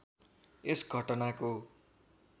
यस घटनाको